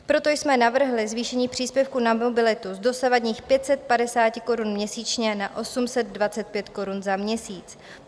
Proto jsme navrhli zvýšení příspěvku na mobilitu z dosavadních 550 korun měsíčně na 825 korun za měsíc.